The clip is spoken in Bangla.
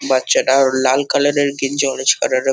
বাচ্চাটার লাল কালার - এর গেঞ্জি অরেঞ্জ কালার - এর --